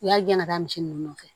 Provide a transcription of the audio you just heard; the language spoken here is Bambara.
U y'a gɛn ka misi nunnu nɔfɛ